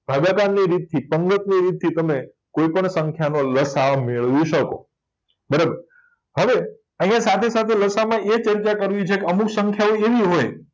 ભાગાકારની રીતથી ગમે તે રીતથી તમે કોય પણ સંખ્યાનો લસાઅ મેળવી શકો બરાબર હવે આયા સાથે સાથે લસાઅમાં એ અમુક સંખ્યાઓ એવી હોય